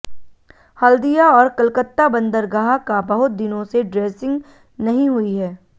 हल्दिया और कलकत्ता बंदरगाह का बहुत दिनों से ड्रेजिंग नहीं हुई है